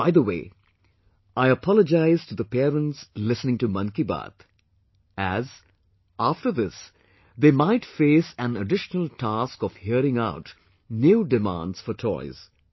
By the way, I apologize to the parents, listening to 'Mann Ki Baat', as, after this, they might face an additional task of hearing out new demands for toys